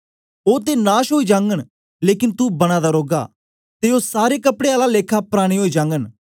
ओ ते नाश ओई जागन लेकन तू बना दा रौगा ते ओ सारे कपड़े आला लेखा पराने ओई जागन